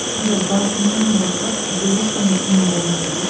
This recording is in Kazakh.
сонда басынан бастап сізде ешқандай күмән болған жоқ иә